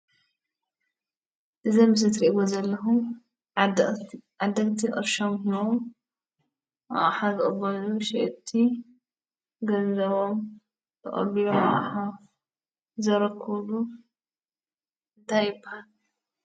እዚ ኣብ ምስሊ እትርእይዎ ዘለኹም ዓደግቲ ቅርሾም ሂቦም ኣቅሓ ዝቅበሉን ሸየጥቲ ገንዘቦም ተቐቢሎም ኣቕሓ ዘረክብሉ እንታይ ይብሃል?